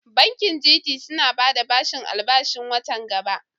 Bankin GT suna bada bashin albashin wata gaba.